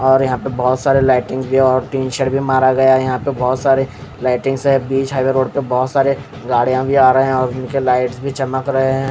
और यहां पे बहुत सारे लाइटिंग्स भी और टीन शेड भी मारा गया यहां पे बहोत सारे लाइटिंग्स है बीच हाईवे रोड पे बहोत सारे गाड़ियां भी आ रहे हैं और उनके लाइट्स भी चमक रहे हैं।